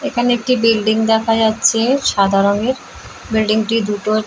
এখানে একটি বিল্ডিং দেখা যাচ্ছে সাদা রঙের | বিল্ডিং -টি দুটো --